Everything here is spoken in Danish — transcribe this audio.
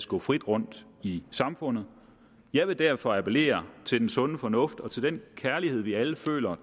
gå frit rundt i samfundet jeg vil derfor appellere til den sunde fornuft og til den kærlighed vi alle føler